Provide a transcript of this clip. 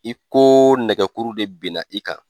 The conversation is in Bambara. I ko nɛgɛ kuru de ben na i kan.